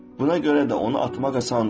Buna görə də onu atmaq asandır.